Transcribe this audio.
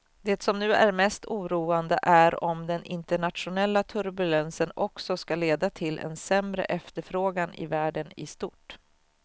Det som nu är mest oroande är om den internationella turbulensen också ska leda till en sämre efterfrågan i världen i stort.